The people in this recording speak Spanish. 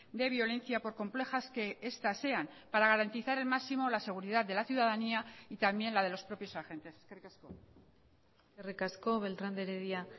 de violencia por complejas que estas sean para garantizar el máximo la seguridad de la ciudadanía y también la de los propios agentes eskerrik asko eskerrik asko beltrán de heredia